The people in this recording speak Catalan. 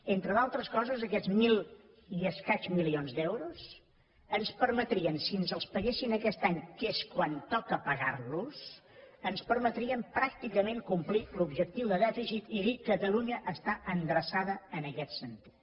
entre d’altres coses aquests mil i escaig milions d’euros ens permetrien si ens els paguessin aquest any que és quan toca pagar los ens permetrien pràcticament complir l’objectiu de dèficit i dir catalunya està endreçada en aquest sentit